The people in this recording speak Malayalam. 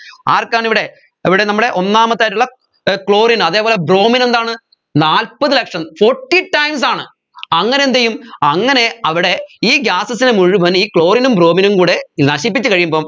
ആർക്കാണ് ഇവിടെ ഇവിടെ നമ്മടെ ഒന്നാമത്തേതായിട്ടുള്ള ഏർ chlorine ആ അതേപോലെ bromine എന്താണ് നാല്പത് ലക്ഷം forty times ആണ് അങ്ങനെ എന്ത് ചെയ്യും അങ്ങനെ അവിടെ ഈ gases നെ മുഴുവൻ ഈ chlorine നും bromine നും കൂടെ നശിപ്പിച്ച് കഴിയുമ്പം